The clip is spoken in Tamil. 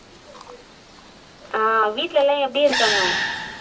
ஆஹ் வீட்டுல எல்லாம் எப்படி இருக்காங்க